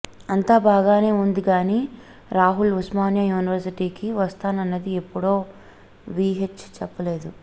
అంతా బాగానే ఉందిగానీ రాహుల్ ఉస్మానియా యూనివర్సిటీకి వస్తానన్నది ఎప్పుడో వీహెచ్ చెప్పలేదు